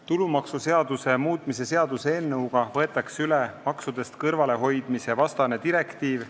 Tulumaksuseaduse muutmise seaduse eelnõuga võetakse üle maksudest kõrvalehoidmise vastane direktiiv.